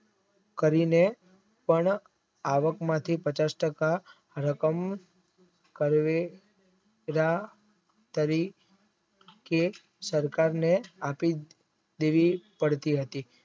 કરીને પણ આવક આવકમાંથી તટષ્ટતા રતન કરે કાર્ય કરી કે સરકારને આપી દેવી પડતી હતી.